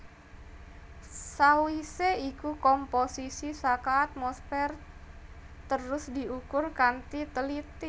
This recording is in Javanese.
Sawisé iku komposisi saka atmosfer terus diukur kanthi teliti